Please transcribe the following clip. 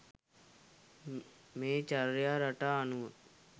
මේ චර්යා රටා අනුව